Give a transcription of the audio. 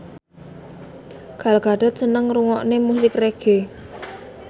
Gal Gadot seneng ngrungokne musik reggae